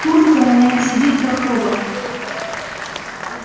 куртка на нем сидит как роба